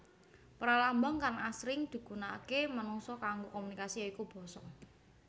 Pralambang kang asring digunaaké manungsa kanggo komunikasi ya iku basa